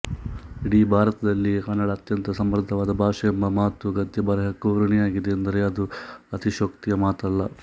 ಇಡೀ ಭಾರತದಲ್ಲಿಯೇ ಕನ್ನಡ ಅತ್ಯಂತ ಸಮೃದ್ಧವಾದ ಭಾಷೆ ಎಂಬ ಮಾತು ಗದ್ಯ ಬರೆಹಕ್ಕೂ ಋಣಿಯಾಗಿದೆ ಎಂದರೆ ಅದು ಅತಿಶಯೋಕ್ತಿಯ ಮಾತಲ್ಲ